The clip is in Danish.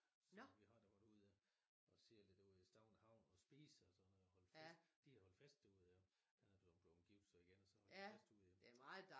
Så vi har da været ude og og se lidt ud i Stauning havn og spise og sådan noget og holde fest de har holdt fest derude jo han er blevet gift så igen jo og så holdt de fest ude